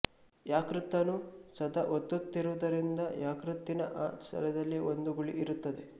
ಯಕೃತ್ತನ್ನು ಸದಾ ಒತ್ತುತ್ತಿರುವುದರಿಂದ ಯಕೃತ್ತಿನ ಆ ಸ್ಥಳದಲ್ಲಿ ಒಂದು ಗುಳಿ ಇರುತ್ತದೆ